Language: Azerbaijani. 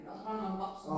Axıranı baxırsan?